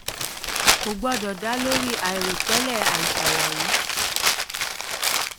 kò gbọdọ̀ dá lórí lórí àìròtẹ́lẹ̀ àìṣàlàyé.